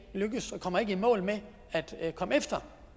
lykkes og ikke kommer i mål med at komme efter